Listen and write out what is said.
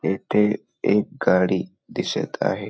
येथे एक गाडी दिसत आहे.